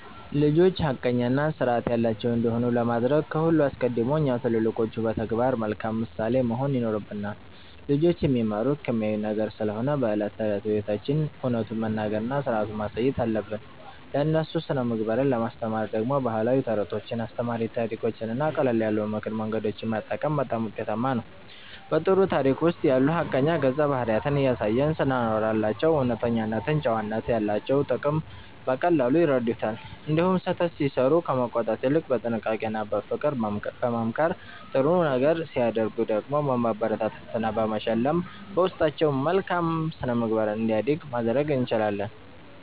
ልጆች ሐቀኛና ሥርዓት ያላቸው እንዲሆኑ ለማድረግ ከሁሉ አስቀድሞ እኛ ትልልቆቹ በተግባር መልካም ምሳሌ መሆን ይኖርብናል። ልጆች የሚማሩት ከሚያዩት ነገር ስለሆነ በዕለት ተዕለት ሕይወታችን እውነቱን መናገርና ሥርዓትን ማሳየት አለብን። ለእነሱ ሥነ-ምግባርን ለማስተማር ደግሞ ባህላዊ ተረቶችን፣ አስተማሪ ታሪኮችንና ቀለል ያሉ የምክር መንገዶችን መጠቀም በጣም ውጤታማ ነው። በጥሩ ታሪክ ውስጥ ያሉ ሐቀኛ ገጸ-ባህሪያትን እያነሳን ስናወራላቸው እውነተኝነትና ጨዋነት ያላቸውን ጥቅም በቀላሉ ይረዱታል። እንዲሁም ስህተት ሲሠሩ ከመቆጣት ይልቅ በጥንቃቄና በፍቅር በመምከር፣ ጥሩ ነገር ሲያደርጉ ደግሞ በማበረታታትና በመሸለም በውስጣቸው መልካም ሥነ-ምግባር እንዲያድግ ማድረግ እንችላለን።